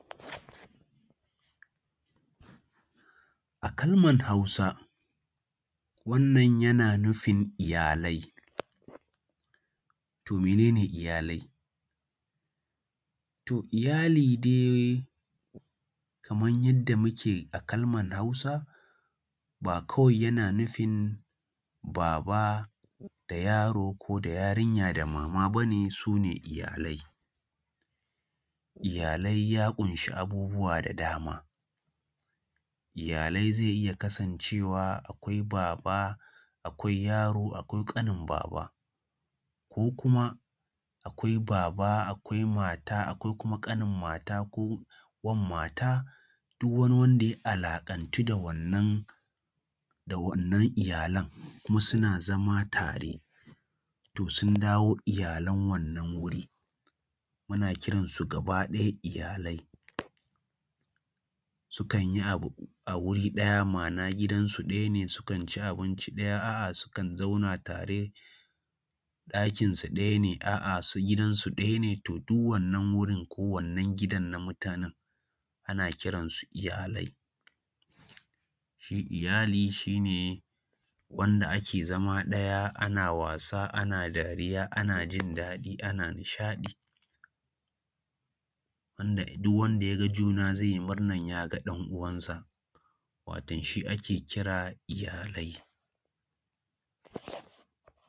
A kalmar Hausa wannan yana nufin iyalai. To mene ne iyalai? To iyali dai kaman yanda muke a kalmar Hausa ba kwai yana nufin baba da yaro ko da yarinya ko da mama bane su ne iyalai. Iyalai ya ƙunshi abubuwa da dama; iyalai zai iya kasancewa akwai baba, akwai yaro akwai ƙanin baba ko kuma akwai baba akwai mata ko wan mata duk wani wanda ya alaƙantu da wannan da wannan iyalan, kuma suna zama tare, to sun dawo iyalan wannan wuri, muna kiran su gaba ɗaya iyalai. Sukan yi abu a wuri ɗaya ma’ana gidansu ɗaya ne sukan ci abinci ɗaya, a’a sukan zauna tare, ɗakinsu ɗaya ne, a’a, gidansu ɗaya ne to duk wannan gurin ko wannan gidan na mutanen ana kiransu iyalai. Shi iyali shi ne wanda ake zama ɗaya ana wasa, ana dariya, ana jindaɗi, ana nishaɗi, wanda duk wanda ya ga juna zai yi murnar ya ga ɗan’uwansa waton shi ake kira iyalai.